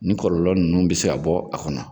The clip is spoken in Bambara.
Nin kɔlɔlɔ ninnu bɛ se ka bɔ a kɔnɔ